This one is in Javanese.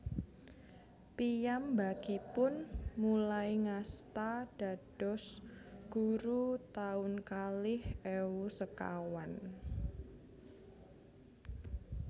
Piyambakipun mulai ngasta dados guru taun kalih ewu sekawan